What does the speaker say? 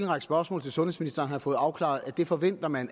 række spørgsmål til sundhedsministeren har jeg fået afklaret at det forventer man